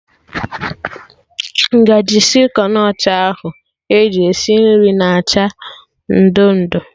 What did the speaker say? Ngaji sịlịkọn ọcha ahụ eji esi nri na acha ị ndo ndo